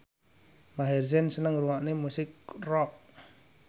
Maher Zein seneng ngrungokne musik rock